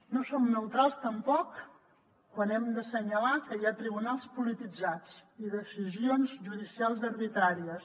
no som neutrals tampoc quan hem d’assenyalar que hi ha tribunals polititzats i decisions judicials arbitràries